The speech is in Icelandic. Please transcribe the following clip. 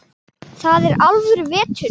Þar er alvöru vetur.